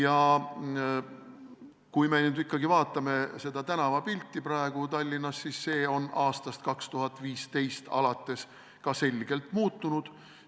Aga kui me nüüd ikkagi vaatame tänavapilti praegu Tallinnas, siis näeme, et see on võrreldes 2015. aastaga selgelt muutunud.